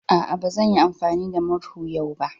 A'a, ba zan yi amfani da murhu yau ba.